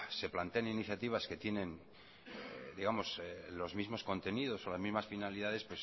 se plantean iniciativas que tienen los mismos contenidos o las mismas finalidades